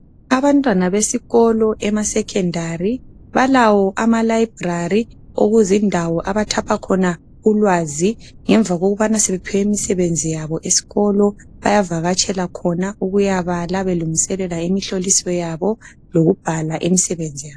Abantwana besikolo ema secondary balawo ama library okuzindawo abathapha khona ulwazi ngemva kokubana sebephiwe imsebenzi yabo esikolo. Bayavakatshela khona ukuyabala belungiselela imihloliso yabo lokubhala imsebenzi yabo.